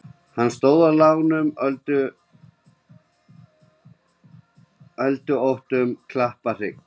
Hann stóð á lágum öldóttum klapparhrygg.